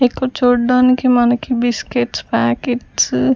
ఇక్కడ చూడడానికి మనకి బిస్కెట్స్ ప్యాకెట్స్ .